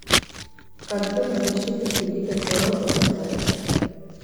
картина защитники дикой природы поставь